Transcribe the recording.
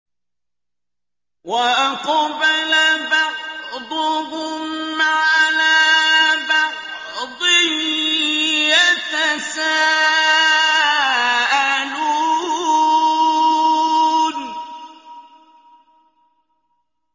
وَأَقْبَلَ بَعْضُهُمْ عَلَىٰ بَعْضٍ يَتَسَاءَلُونَ